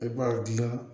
I b'a dilan